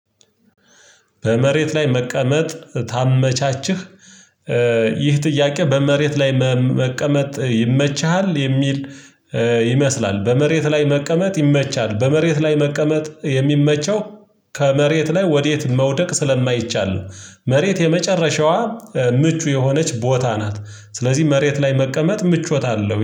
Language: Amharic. በመሬት ላይ መቀመጥ ታመቻችህ። ይህ ጥያቄ በመሬት ላይ መቀመጥ ይመችሃል የሚል። ይመስላል በመሬት ላይ መቀመጥ ይመቻል በመሬት ላይ መቀመጥ የሚመቸው። ከመሬት ላይ ወዴት መውደቅ ስለማይቻል ነው። መሬት የመጨረሻዋ ምቹ የሆነች ቦታ ናት። ስለዚህ መሬት ላይ መቀመጥ ምቾት አለው